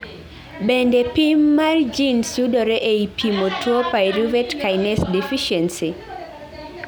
Bende pim mar genes yudore ei pimo tuo pyruvate kinase deficiency?